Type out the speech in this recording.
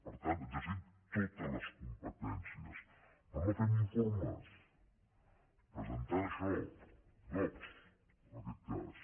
per tant exercim totes les competències però no fent informes presentant això dogc en aquest cas